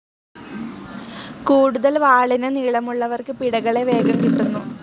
കൂടുതൽ വാളിന് നീള മുള്ളവർക്ക് പിടകളെ വേഗം കിട്ടുന്നു.